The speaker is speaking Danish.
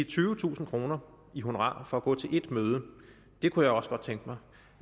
tyvetusind kroner i honorar for at gå til ét møde det kunne jeg også godt tænke mig